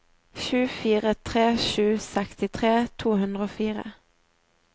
sju fire tre sju sekstitre to hundre og fire